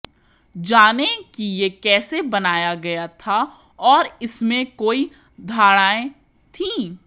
जानें कि यह कैसे बनाया गया था और इसमें कोई धारणाएं थीं